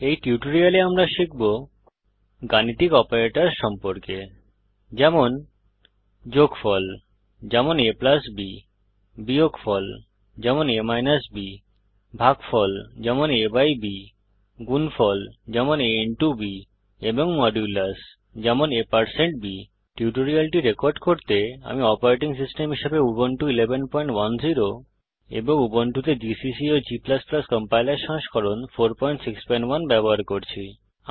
এই টিউটোরিয়ালে আমরা শিখব গাণিতিক অপারেটরস সম্পর্কে যেমন যোগ যেমন a b বিয়োগ যেমন a b ভাগ যেমন a b গুণ যেমন a b এবং মডুলাস যেমন a b এই টিউটোরিয়ালটি রেকর্ড করতে আমি অপারেটিং সিস্টেম হিসাবে উবুন্টু 1110 এবং উবুন্টুতে জিসিসি ও g কম্পাইলার সংস্করণ 461 ব্যবহার করছি